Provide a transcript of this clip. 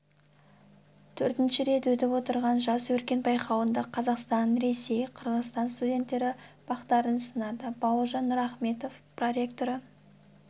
төртінші рет өтіп отырған жас өркен байқауында қазақстан ресей қырғызстан студенттері бақтарын сынады бауыржан нұрахметов проректоры